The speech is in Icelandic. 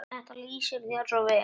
Þetta lýsir þér svo vel.